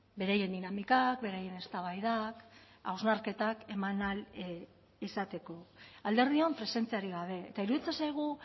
beraien dinamikak beraien eztabaidak hausnarketak eman ahal izateko alderdion presentziarik gabe eta iruditzen zaigu